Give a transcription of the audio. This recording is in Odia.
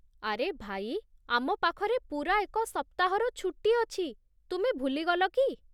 ଆରେ ଭାଇ, ଆମ ପାଖରେ ପୂରା ଏକ ସପ୍ତାହର ଛୁଟି ଅଛି, ତୁମେ ଭୁଲି ଗଲ କି?